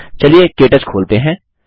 चलिए के टच खोलते हैं